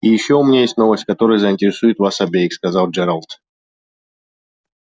и ещё у меня есть новость которая заинтересует вас обеих сказал джералд